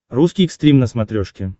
русский экстрим на смотрешке